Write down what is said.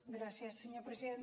gràcies senyor president